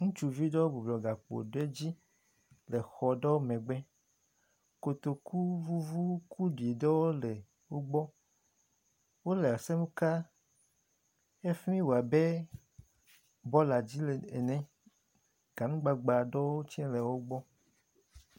Ɖevi kuɖi eme adre bɔbɔnɔ atrakpi dzi le exɔɖenu dzi eye kotoku kple gbe ɖuɖɔ le ŋgɔ na wo ke nukokui hã le emo ne ɖevia ɖe wo.